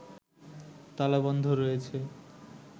তালা বন্ধ রয়েছে